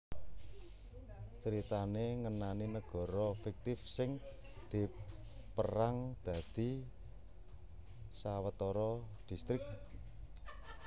Critané ngenani negara fiktif sing dipérang dadi sawetara distrik